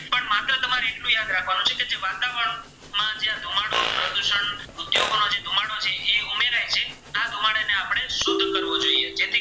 ચેપી કરવો જોઈએ